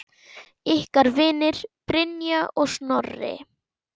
Ykkar vinir, Brynja og Snorri.